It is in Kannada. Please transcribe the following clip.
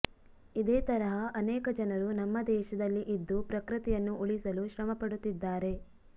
ಇದೇ ತರಹ ಅನೇಕ ಜನರು ನಮ್ಮ ದೇಶದಲ್ಲಿ ಇದ್ದು ಪ್ರಕೃತಿಯನ್ನು ಉಳಿಸಲು ಶ್ರಮ ಪಡುತ್ತಿದ್ದಾರೆ